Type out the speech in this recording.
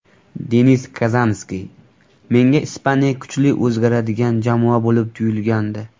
Denis Kazanskiy: Menga Ispaniya kuchli o‘zgaradigan jamoa bo‘lib tuyulgandi.